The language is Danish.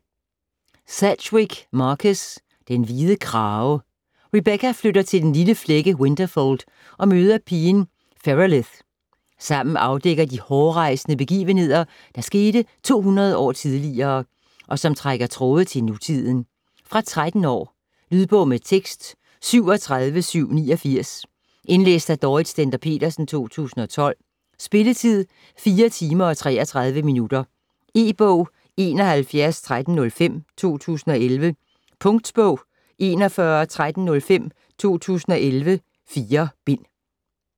Sedgwick, Marcus: Den hvide krage Rebecca flytter til den lille flække Winterfold og møder pigen Ferelith. Sammen afdækker de hårrejsende begivenheder, der skete 200 år tidligere, og som trækker tråde til nutiden. Fra 13 år. Lydbog med tekst 37789 Indlæst af Dorrit Stender Petersen, 2012. Spilletid: 4 timer, 33 minutter. E-bog 711305 2011. Punktbog 411305 2011. 4 bind.